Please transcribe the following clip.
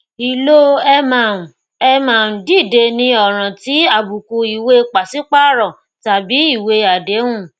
ìlò ẹ má ń ẹ má ń dìde ní ọràn ti àbùkù ìwée pàṣípààrọ tàbí ìwé àdéhùn